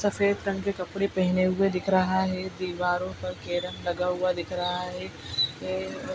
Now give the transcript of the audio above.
रंग के कपड़े पहने हुए दिख रहा है दीवारों पर के रंग लगा हुआ दिख रहा है। ए अ --